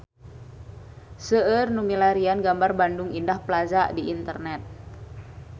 Seueur nu milarian gambar Bandung Indah Plaza di internet